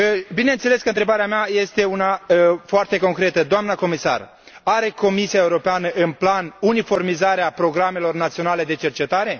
Bineînțeles că întrebarea mea este una foarte concretă doamna comisar, are Comisia Europeană în plan uniformizarea programelor naționale de cercetare?